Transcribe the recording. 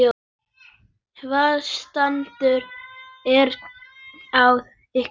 Hvaða stand er á ykkur?